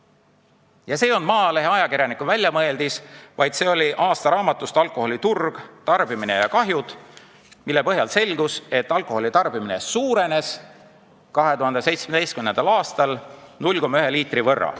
Ja see ei olnud Maalehe ajakirjaniku väljamõeldis, see oli võetud aastaraamatust "Alkoholi turg, tarbimine ja kahjud Eestis", kust selgus, et alkoholi keskmine tarbimine suurenes 2017. aastal 0,1 liitri võrra.